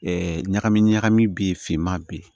ɲagami ɲagami be yen finman bɛ yen